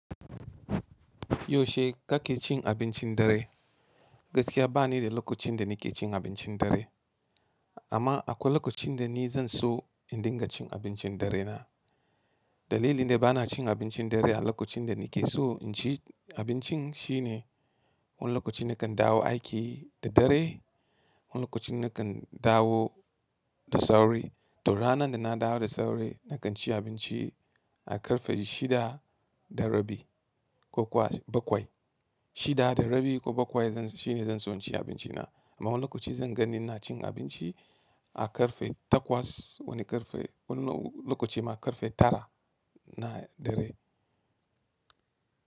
Yaushe kake cin abincin dare? Gaskiya ba ni da lokacin da nake cin abincin dare amma akwai lokacin da ni zan so in dinga cin abincin dare na. Dalilin da ba na cin abincin dare a lokacin da nake so inci abincin shine, wani lokaci nakan dawo aiki da dare, wani lokacin nakan dawo da sauri. To ranan da na dawo da sauri nakan ci abinci a ƙarfe shida da rabi ko kuwa bakwai. Shida da rabi ko bakwai shine zan so in ci abinci na amma wani lokaci zan ganni ina cin abinci a ƙarfe takwas, wani lokaci ma ƙarfe tara na dare.